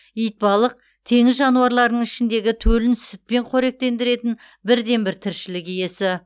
итбалық теңіз жануарларының ішіндегі төлін сүтпен қоректендіретін бірден бір тіршілік иесі